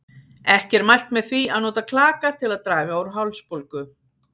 Ekki er mælt með því að nota klaka til að draga úr hálsbólgu.